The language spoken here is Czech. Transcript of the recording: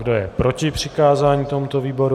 Kdo je proti přikázání tomuto výboru?